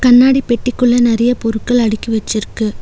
கண்ணாடி பெட்டிக்குள்ள நெறைய பொருட்கள் அடுக்கி வச்சிருக்கு.